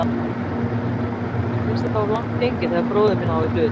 Mér finnst þetta of langt gengið þegar bróðir minn á í hlut.